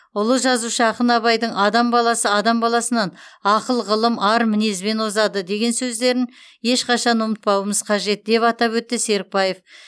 ұлы жазушы ақын абайдың адам баласы адам баласынан ақыл ғылым ар мінезбен озады деген сөздерін ешқашан ұмытпауымыз қажет деп атап өтті серікбаев